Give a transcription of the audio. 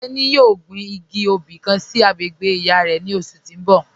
Tẹni yọ̀ọ́ gbìn igì obì kàn sí agbègbè iyá rẹ̀ ni ọṣù tì n bọ̀.